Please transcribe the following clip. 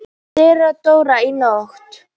THEODÓRA: Í nótt.